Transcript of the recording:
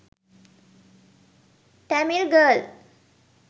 tamil girl